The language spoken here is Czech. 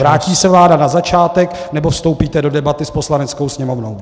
Vrátí se vláda na začátek, nebo vstoupíte do debaty s Poslaneckou sněmovnou?